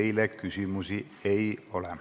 Teile küsimusi ei ole.